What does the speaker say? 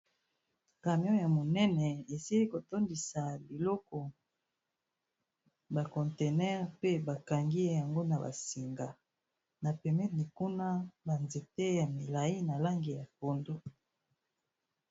Camion ya monene esili ko tondisa biloko ba contenaire pe ba kangi yango na ba singa, na pembeni kuna ba nzete ya milayi na langi ya pondu.